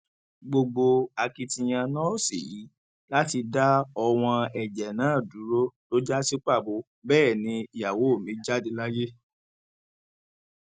gbogbo akitiyan nọọsì yìí láti dá ọwọn ẹjẹ náà dúró ló já sí pàbó bẹẹ ni ìyàwó mi jáde láyé